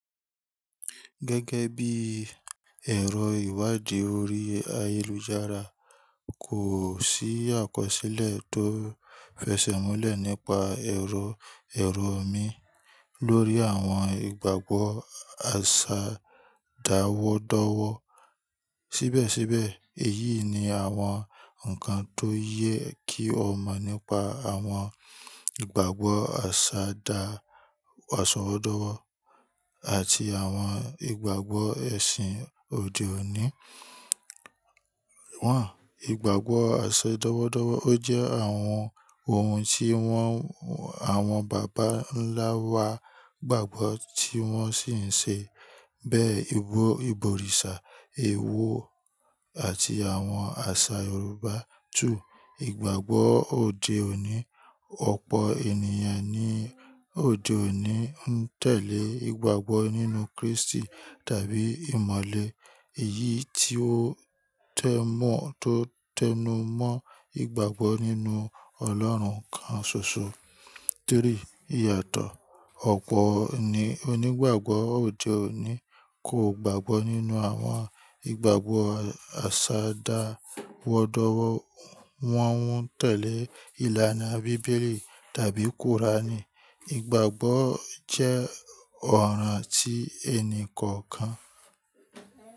Gẹ́gẹ́ bí ẹ̀rọ ìwádìí orí ayélujára, kò sí àkọsílẹ̀ tó fẹsẹ̀múlẹ̀ nípa ẹrọ ẹrọ omi lórí àwọn ìgbàgbọ́ àṣà dáwọ́dọ́wọ́. Síbẹ̀síbẹ̀, èyí ni àwọn nǹkan tó yẹ kí o mọ̀ nípa àwọn ìgbàgbọ́ àṣà dá àsanwó dọ́wọ́ àti àwọn ìgbàgbọ́ ẹ̀sìn òde òní. Wọ́n, ìgbàgbọ́ àṣẹ dọ́wọ́dọ́wọ́ jẹ́ àwọn ohun tí wọ́n, àwọn bàbá ńlá wa gbàgbọ́ tí wọ́n sì ń ṣe. Bẹ́ẹ̀, ìbò, ìbò òrìṣà, èèwọ̀ àti àwọn àṣà Yorùbá. Two, ìgbàgbọ́ òde òní. Ọ̀pọ̀ ènìyàn ní òde òní ń tẹ̀lé ìgbàgbọ́ nínú Krístì tàbí ìmọ̀le, èyí tí ó tẹ́ mọ́ tó tẹ́nu mọ́ ìgbàgbọ́ nínú Ọlọ́run kan ṣoṣo. Three, ìyàtọ̀. Ọ̀pọ̀ ni onígbàgbọ́ òde òní kò gbàgbọ́ nínú àwọn ìgbàgbọ́ àṣà dáwọ́dọ́wọ́. Wọ́n ń tẹ̀lé ìlànà bíbélì tàbí kùránì. Ìgbàgbọ́ jẹ́ ọ̀ràn ti ẹni kọ̀ọ̀kan.